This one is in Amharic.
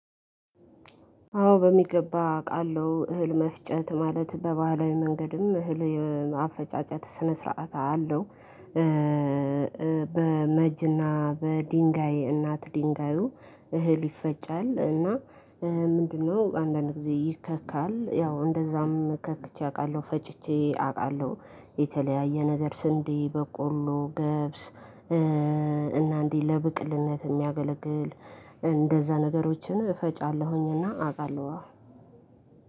አዎ በሚገባ አውቃለሁ እህል መፍጨት ማለት በባህላዊ መንገድም እህል አፈጫጨት ስነ ስርዓት አለው። በመጅና በድንጋይ እናት ድንጋዩ እህል ይፈጫል እና ምንድነው? አንዳንድ ጊዜ ይከካል ያው እንደዛም ከእቼ አውቃለሁ ፈጭቼ አውቃለሁ። የተለያየ ነገር ስንዴ በቆሎ ገብስ እና እንዲህ ለብቅልነት የሚያገለግል። እንደዛ ነገሮችን እፈጫለሁኝና አውቃለሁ አፍ